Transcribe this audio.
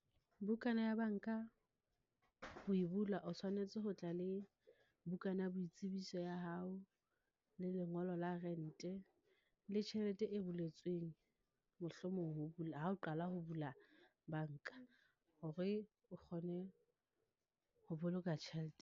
Bukana ya banka ho e bula, o tshwanetse ho tla le bukana ya boitsebiso ya hao, le lengolo la rente, le tjhelete e buletsweng. Mohlomong ho , ha o qala ho bula banka, hore o kgone ho boloka tjhelete.